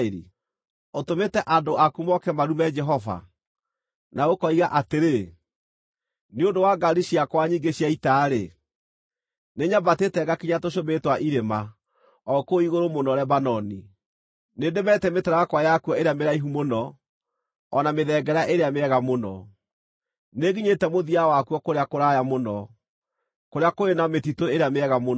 Ũtũmĩte andũ aku moke marume Jehova. Na ũkoiga atĩrĩ, “Nĩ ũndũ wa ngaari ciakwa nyingĩ cia ita-rĩ, nĩnyambatĩte ngakinya tũcũmbĩrĩ twa irĩma, o kũu igũrũ mũno Lebanoni. Nĩndemete mĩtarakwa yakuo ĩrĩa mĩraihu mũno, o na mĩthengera ĩrĩa mĩega mũno. Nĩnginyĩte mũthia wakuo kũrĩa kũraya mũno, kũrĩa kũrĩ na mĩtitũ ĩrĩa mĩega mũno.